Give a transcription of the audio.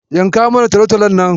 Yanka mana talatalon nan.